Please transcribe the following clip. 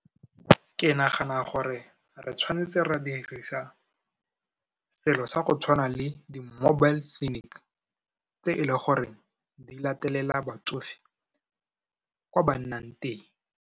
Ke nagana gore re tshwanetse ra dirisa selo sa go tshwana le di-mobile clinic, tse e le goreng di latelela batsofe kwa ba nnang teng.